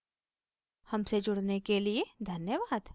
हमसे जुड़ने के लिए धन्यवाद